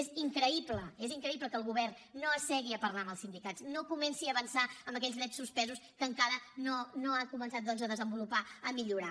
és increïble és increïble que el govern no s’assegui a parlar amb els sindicats no comenci a avançar en aquells drets suspesos que encara no ha començat doncs ha desenvolupar a millorar